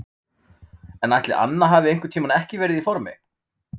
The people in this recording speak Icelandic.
En ætli Anna hafi einhvern tímann ekki verið í formi?